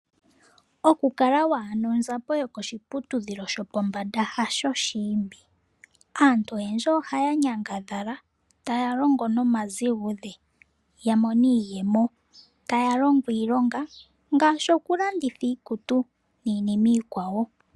Okukala wa hala onzapo yokoshiputudhilo shopombanda hasho oshiimbi. Aantu oyendji ohaa nyangadhala, taa longo nomazigudhe ya mone iiyemo. Taa longo iilonga ngaashi okulanditha iikutu niinima iikwawo.